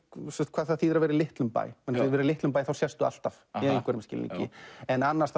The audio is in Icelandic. hvað það þýðir að vera í litlum bæ að vera í litlum bæ þá séstu alltaf í einhverjum skilningi en annars